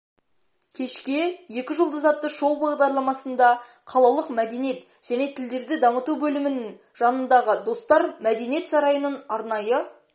кешке екі жұлдыз атты шоу-бағдарламасында қалалық мәдениет және тілдерді дамыту бөлімінің жанындағы достар мәдениет сарайының арнайы